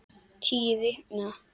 Tíu vikna